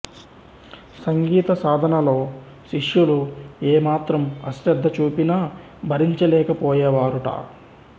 సంగీత సాధనలో శిష్యులు ఏమాత్రం అశ్రద్ధ చూపినా భరించలేక పోయేవారుట